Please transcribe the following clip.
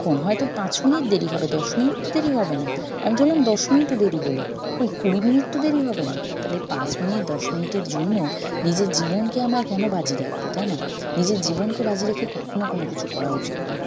ক্ষন হয়ত পাঁচ minute দেরি হবে দশ minute তো দেরি হবে না আমি ধরলাম দশ minute ও দেরি হল কই কুড়ি minute তো দেরি হবে না তালে পাঁচ minute দশ minute এর জন্য নিজের জীবনকে আমরা কেন বাজি রাখব তাই না? নিজের জীবনকে বাজি রেখে কখনো কোনোকিছু করা উচিত নয়